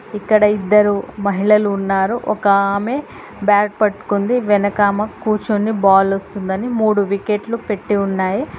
ఇక్కడ ఇద్దరు మహిళలు ఉన్నారు ఒక ఆమె బ్యాట్ పట్టుకుని వెనకామ కూర్చొని బాల్ వస్తుందని మూడు వికెట్లు పెట్టి ఉన్నాయి.